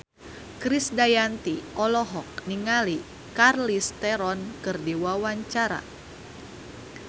Krisdayanti olohok ningali Charlize Theron keur diwawancara